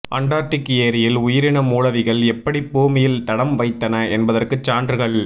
Antarctic ஏரியில் உயிரின மூலவிகள் எப்படிப் பூமியில் தடம் வைத்தன என்பதற்குச் சான்றுகள்